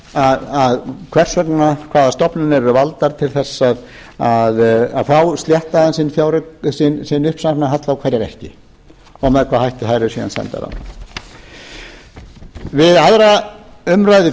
einmitt gagnrýna hvers vegna hvaða stofnanir eru valdar til þess að fá sléttaðan sinn uppsafnaða halla og hverjar ekki og með hvaða hætti þær eru síðan sendar við aðra umræðu